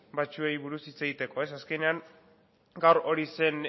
batzuei buruz hitz egiteko azkenean gaur hori zen